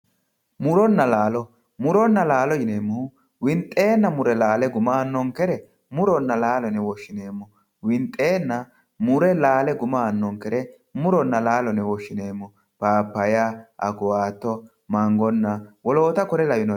muronna laalo muronna laalo yineemohu winxeenna mure laale guma aanonkere muronna laalo yine woshineemo winxeenna mure laale guma aanonkere muronna laalo yine woshineemo pappaya, akuwaato, mangonna wolota kuri lawanoreti